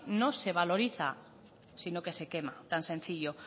no se valoriza sino que se quema tan sencillo